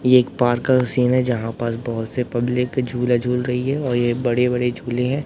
ये एक पार्क का सीन है जहां पर बहोत से पब्लिक झूला झूल रही है और ये बड़े-बड़े झूले हैं।